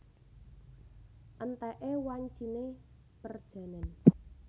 Entèké wanciné perjanèn